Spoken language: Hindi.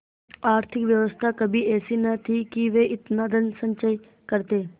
आर्थिक व्यवस्था कभी ऐसी न थी कि वे इतना धनसंचय करते